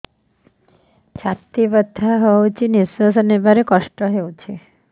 ଛାତି ବଥା ହଉଚି ନିଶ୍ୱାସ ନେବାରେ କଷ୍ଟ ହଉଚି